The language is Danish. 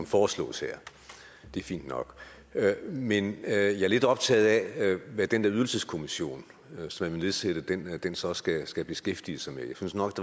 foreslås det er fint nok men jeg er lidt optaget af hvad den der ydelseskommission som man vil nedsætte så skal skal beskæftige sig med jeg synes nok